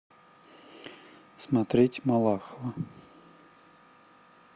смотреть малахова